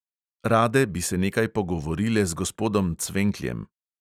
Rade bi se nekaj pogovorile z gospodom cvenkljem.